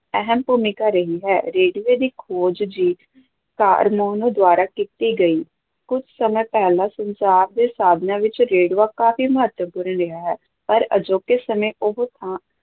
ਅਹਿਮ ਭੂਮਿਕਾ ਰਹੀ ਹੈ, ਰੇਡੀਓ ਦੀ ਖੋਜ ਜੀ ਕਾਰਮੋਨੋ ਦੁਆਰਾ ਕੀਤੀ ਗਈ, ਕੁਝ ਸਮਾਂ ਪਹਿਲਾਂ ਸੰਚਾਰ ਦੇ ਸਾਧਨਾਂ ਵਿੱਚ ਰੇਡੀਓ ਕਾਫ਼ੀ ਮਹੱਤਵਪੂਰਨ ਰਿਹਾ ਹੈ, ਪਰ ਅਜੋਕੇ ਸਮੇਂ ਉਹ ਥਾਂ